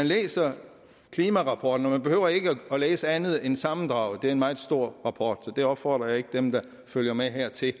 læse klimarapporten og man behøver ikke at læse andet end sammendraget det er en meget stor rapport så jeg opfordrer ikke dem der følger med her til at